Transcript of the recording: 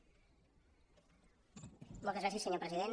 moltes gràcies senyor president